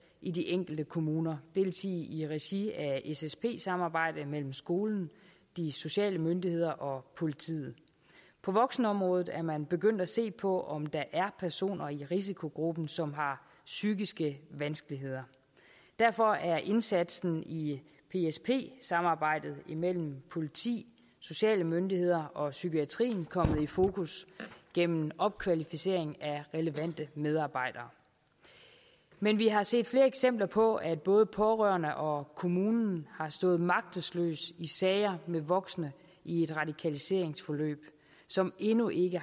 i de enkelte kommuner det vil sige i regi af et ssp samarbejde mellem skolen de sociale myndigheder og politiet på voksenområdet er man begyndt at se på om der er personer i risikogruppen som har psykiske vanskeligheder derfor er indsatsen i i psp samarbejdet imellem politi sociale myndigheder og psykiatrien kommet i fokus gennem opkvalificering af relevante medarbejdere men vi har set flere eksempler på at både pårørende og kommunen har stået magtesløse i sager med voksne i et radikaliseringsforløb som endnu ikke